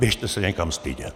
Běžte se někam stydět!